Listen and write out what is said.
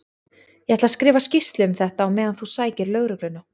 Ég ætla að skrifa skýrslu um þetta á meðan þú sækir lögregluna.